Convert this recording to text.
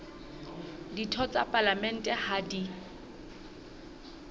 ditho tsa palamente ha di